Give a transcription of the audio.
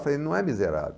Eu falei, não é miserável.